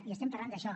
i estem parlant d’això